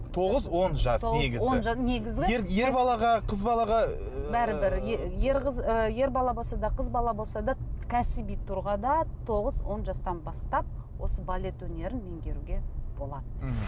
тоғыз он жас негізі ер балаға қыз балаға ыыы бәрібір ер ер бала болса да қыз бала болса да кәсіби тұрғыда тоғыз он жастан бастап осы балет өнерін меңгеруге болады мхм